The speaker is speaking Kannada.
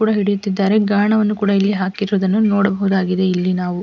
ಒಬ್ಬರು ಗರಣವನ್ನು ಹಾಕಿರುವುದು ಕೂಡ ನೋಡಬಹುದಾಗಿದೆ ಇಲ್ಲಿ ನಾವು--